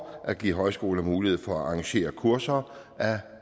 at give højskoler mulighed for at arrangere kurser af